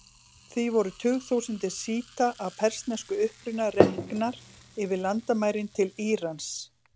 Því voru tugþúsundir sjíta af persneskum uppruna reknar yfir landamærin til Írans.